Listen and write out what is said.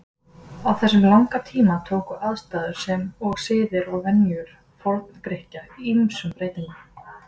Á þessum langa tíma tóku aðstæður sem og siðir og venjur Forngrikkja ýmsum breytingum.